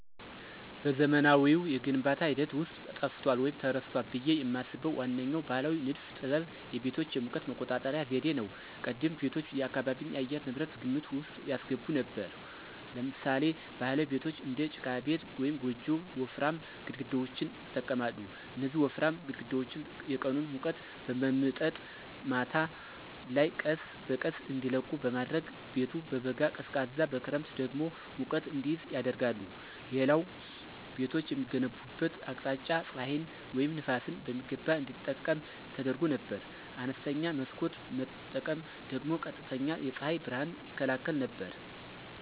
በዘመናዊው የግንባታ ሂደት ውስጥ ጠፍቷል ወይም ተረስቷል ብዬ የማስበው ዋነኛው ባሕላዊ ንድፍ ጥበብ የቤቶች የሙቀት መቆጣጠሪያ ዘዴ ነው። ቀደምት ቤቶች የአካባቢን የአየር ንብረት ግምት ውስጥ ያስገቡ ነበሩ። ለምሳሌ ባህላዊ ቤቶች (እንደ ጭቃ ቤት ወይም ጎጆ) ወፍራም ግድግዳዎችን ይጠቀማሉ። እነዚህ ወፍራም ግድግዳዎች የቀኑን ሙቀት በመምጠጥ ማታ ላይ ቀስ በቀስ እንዲለቁ በማድረግ ቤቱ በበጋ ቀዝቃዛ በክረምት ደግሞ ሙቀት እንዲይዝ ያደርጋሉ። ሌላው ቤቶች የሚገነቡበት አቅጣጫ ፀሐይን ወይም ነፋስን በሚገባ እንዲጠቀም ተደርጎ ነበር። አነስተኛ መስኮት መጠቀም ደግሞ ቀጥተኛ የፀሐይ ብርሃንን ይከላከል ነበር።